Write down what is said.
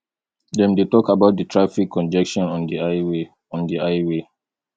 dem dey talk about di traffic congestion on di highway on di highway